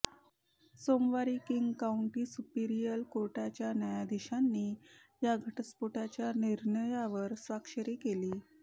सोमवारी King County Superior कोर्टाच्या न्यायाधीशांनी या घटस्फोटाच्या निर्णयावर स्वाक्षरी केली